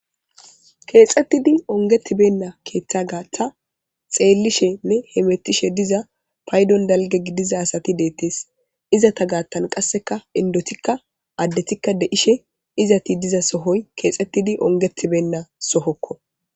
keexxettidi ongetibenna keeththa gaaththa xeellishenne hemettishe diza paydon dalge gidiza asati deettees izata gaattan qasseka indotikka addetikka deishe izati diza sohoy keexxettidi ongetibenna sohokko